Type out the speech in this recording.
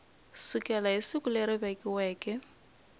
sukela hi siku leri vekiweke